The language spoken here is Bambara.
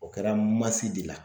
O kɛra masi de la.